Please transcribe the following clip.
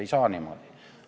Ei saa niimoodi!